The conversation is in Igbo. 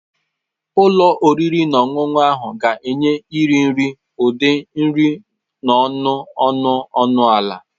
Ụlọ oriri na ọṅụṅụ ahụ ga-enye iri nri ụdị nri n'ọnụ ọnụ ọnụ ala.